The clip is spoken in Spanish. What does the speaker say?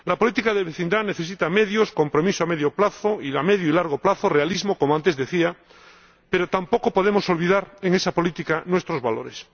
La política de vecindad necesita medios, compromiso a medio y largo plazo, realismo, como antes decía, pero tampoco podemos olvidar en esa política nuestros valores.